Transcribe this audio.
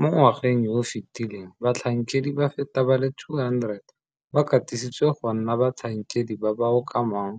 Mo ngwageng yo o fetileng batlhankedi ba feta ba le 200 ba katisitswe go nna batlhankedi ba ba okamang